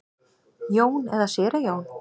Jón eða séra Jón?